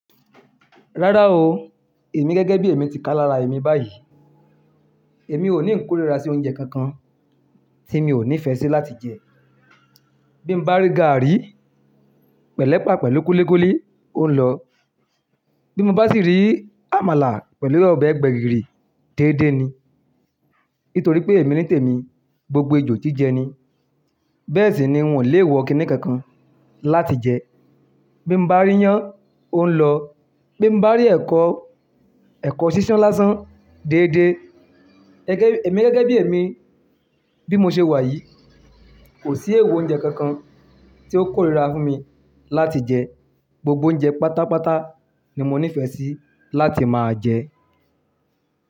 Rárá o, èmi gẹ́gẹ́ bí èmi ti ká lára èmi báyìí, èmi ò ní ń kórìíra sí oúnjẹ kankan tí mi ò nífẹ́ sí láti jẹ. Bí mo bá rí gààrí pẹ̀lẹ́ pàá pẹ̀lú kúlíkúlí, ó ń lọ. Bí mo bá sì rí àmàlà pẹ̀lú ọbẹ̀ gbẹ̀gìrì, déédé ni. Nítorí pé èmi ní tèmi, gbogbo ejò jí jẹ ni. Bẹ́ẹ̀ sì ni n ò le wọ̀ kìnní kankan láti jẹ. Bí mo bá rí iyán, ó ń lọ. Bí mo bá rí ẹ̀kọ, ẹ̀kọ sísán lásán, déédé. Gẹ́gẹ́, èmi gẹ́gẹ́ bí èmi, bí mo ṣe wà yìí, kò sí èèwọ̀ oúnjẹ kankan tí ó kórìíra fún mi láti jẹ. Gbogbo oúnjẹ pátápátá ni mo nífẹ́ sí láti máa jẹ.